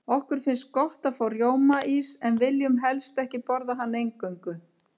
Okkur finnst gott að fá rjómaís, en viljum helst ekki borða hann eingöngu.